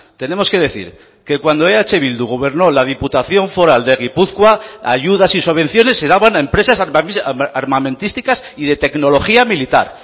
tenemos que decir que cuando eh bildu gobernó la diputación foral de gipuzkoa ayudas y subvenciones se daban a empresas armamentísticas y de tecnología militar